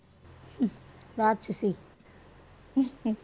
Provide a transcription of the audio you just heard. ராச்சசி